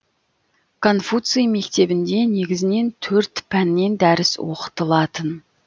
конфуций мектебінде негізінен төрт пәннен дәріс оқытылатын